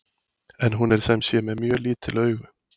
En hún er sem sé með mjög lítil augu!